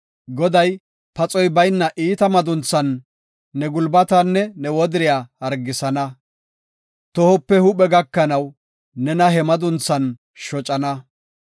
Goday paxoy bayna iita madunthan ne gulbatanne ne wodiriya hargisana; tohope huuphe gakanaw, nena he madunthan shocana.